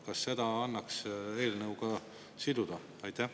Kas seda annaks eelnõuga siduda?